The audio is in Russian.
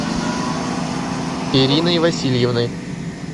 ириной васильевной